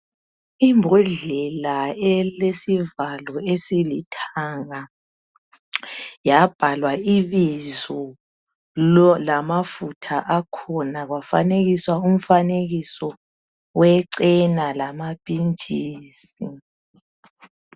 Ibhodlela elilesivalo esilithanga yabhalwa ibizo lamafutha akhona kwafanekiswa umfanekiso wechena lamapintshisi